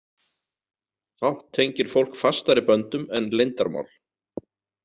Fátt tengir fólk fastari böndum en leyndarmál.